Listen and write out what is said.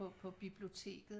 På biblioteket